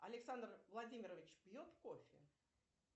александр владимирович пьет кофе